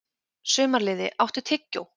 Sumarliði, áttu tyggjó?